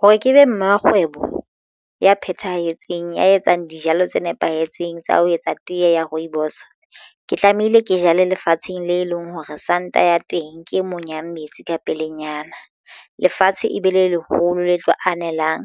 Hore ke be mmakgwebo ya phethahetseng ya etsang dijalo tse nepahetseng tsa ho etsa tee ya rooibos ke tlamehile ke jale lefatsheng le leng hore sand-a ya teng ke monyang metsi ka pelenyana. Lefatshe e be le leholo le tlo anelang